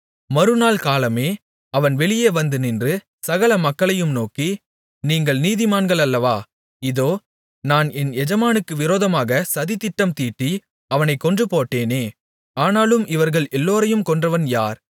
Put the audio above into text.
மறுநாள் காலமே அவன் வெளியேவந்து நின்று சகல மக்களையும் நோக்கி நீங்கள் நீதிமான்களல்லவா இதோ நான் என் எஜமானுக்கு விரோதமாக சதித்திட்டம் தீட்டி அவனைக் கொன்றுபோட்டேனே ஆனாலும் இவர்கள் எல்லோரையும் கொன்றவன் யார்